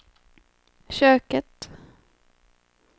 köket